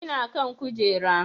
Ina kan kujera